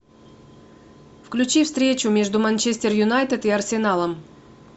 включи встречу между манчестер юнайтед и арсеналом